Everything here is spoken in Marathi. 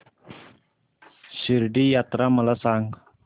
शिर्डी यात्रा मला सांग